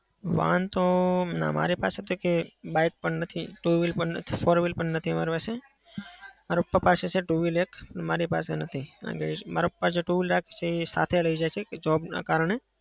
વાહન તો ના મારી પાસે તો એકય bike પણ નથી. two wheel પણ નથી. four wheel પણ નથી મારા પાસે. મારા પપ્પા પાસે છે two wheeler એક. મારી પાસે નથી મારા પપ્પા તો સાથે જ લઇ જશે job ના કારણે.